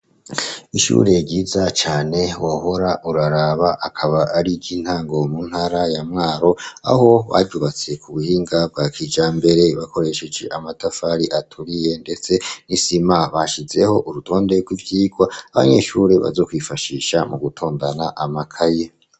Ishure ryiza cane wohora uraraba. Akaba ariy'intango mu ntara ya Mwaro; aho baryubatse ku buhinga bwa kijambere bakoresheje amatafari aturiye, ndetse n'isima. Bashizeho urutonde rw'ivyigwa abanyeshuri bazokwifashisha mu gutondana amakaye.